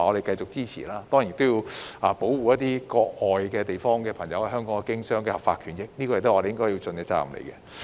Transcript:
當然，我們亦要保護國外朋友在香港經商的合法權益，這也是我們應盡的責任。